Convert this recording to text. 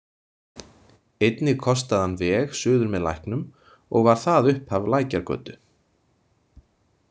Einnig kostaði hann veg suður með Læknum og var það upphaf Lækjargötu.